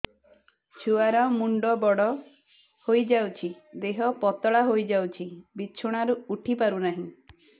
ଛୁଆ ର ମୁଣ୍ଡ ବଡ ହୋଇଯାଉଛି ଦେହ ପତଳା ହୋଇଯାଉଛି ବିଛଣାରୁ ଉଠି ପାରୁନାହିଁ